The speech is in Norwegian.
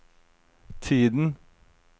tiden